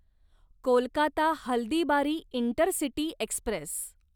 Kolkata Haldibari intercity Express